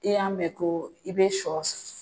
I y'a mɛn ko i bɛ sɔ